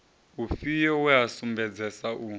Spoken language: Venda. ufhio we a sumbedzesa u